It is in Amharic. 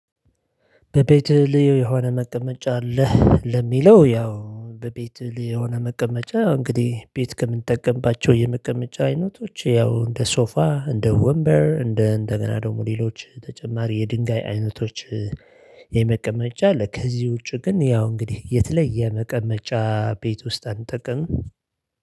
በቤትህ ልዩ የሆነ መቀመጫ አለህ? ለሚለው ያው በቤትህ ልዩ የሆነ መቀመጫ እንግዲህ ቤት ከምንጠቀምባቸው የመቀመጫ አይነቶች ያው እንደ ሶፋ እንደ ወንበር እንደ እንደገና ደግሞ ሌሎች ተጨማሪ የድንጋይ አይነቶች የመቀመጫ አለ። ከዚ ውጪ ግን ያው እንግዲህ የተለየ የመቀመጫ ቤት ውስጥ አንጠቀምም